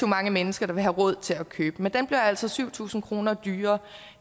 mange mennesker vil have råd til at købe men den bliver altså syv tusind kroner dyrere